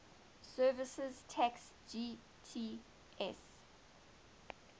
services tax gst